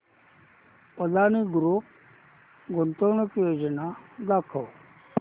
Adani group गुंतवणूक योजना दाखव